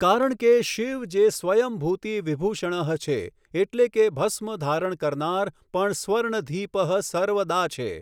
કારણ કે, શિવ જે સ્વયં ભૂતિ વિભૂષણઃ છે, એટલે કે ભસ્મ ધારણ કરનાર પણ સર્વધિપઃ સર્વદા છે.